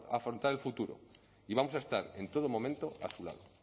afrontar el futuro y vamos a estar en todo momento a su lado